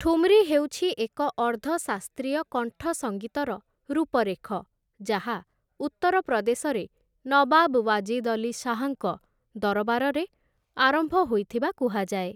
ଠୁମ୍‌ରୀ ହେଉଛି ଏକ ଅର୍ଦ୍ଧ ଶାସ୍ତ୍ରୀୟ କଣ୍ଠସଙ୍ଗୀତର ରୂପରେଖ ଯାହା ଉତ୍ତରପ୍ରଦେଶରେ ନବାବ୍‌ ୱାଜିଦ୍‌ ଅଲି ଶାହ୍‌ଙ୍କ ଦରବାରରେ ଆରମ୍ଭ ହୋଇଥିବା କୁହାଯାଏ ।